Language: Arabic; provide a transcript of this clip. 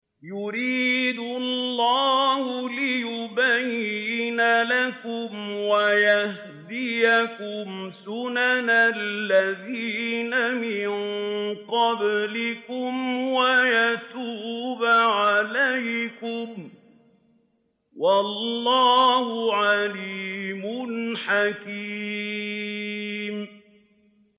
يُرِيدُ اللَّهُ لِيُبَيِّنَ لَكُمْ وَيَهْدِيَكُمْ سُنَنَ الَّذِينَ مِن قَبْلِكُمْ وَيَتُوبَ عَلَيْكُمْ ۗ وَاللَّهُ عَلِيمٌ حَكِيمٌ